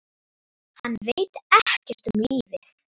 Hann veit ekkert um lífið.